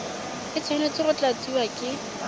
e tshwanetse go tlatsiwa ke